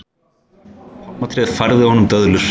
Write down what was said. Pálmatréð færði honum döðlur.